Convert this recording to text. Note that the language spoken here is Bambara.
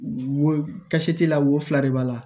Wosi t'i la wo fila de b'a la